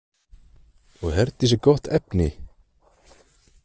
Og Herdís er gott efni?